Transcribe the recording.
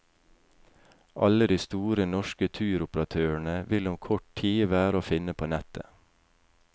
Alle de store norske turoperatørene vil om kort tid være å finne på nettet.